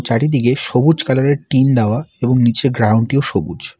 চারিদিকে সবুজ কালার -এর টিন দেওয়া এবং নীচের গ্রাউন্ড -টিও সবুজ।